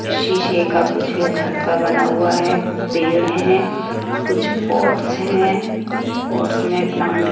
शीशे का कुछ घर सा बना हुआ है पेड़ हैं कुछ पोर्ट्स हैं पोर्ट्स में प्लांट --